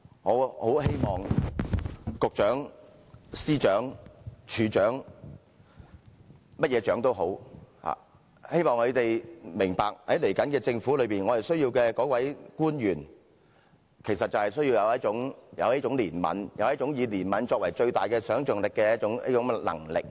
我很希望局長、司長、署長或任何首長明白，在接下來的政府，我們需要官員有一種憐憫，有一種以憐憫作為最大想象力的能力。